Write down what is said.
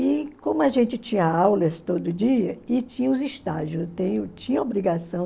E como a gente tinha aulas todo dia e tinha os estágios tinha obrigação.